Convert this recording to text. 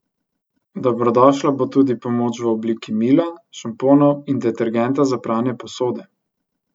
Dobrodošla bo tudi pomoč v obliki mila, šamponov in detergenta za pranje posode.